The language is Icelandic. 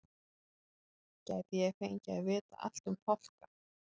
Gæti ég fengið að vita allt um fálka?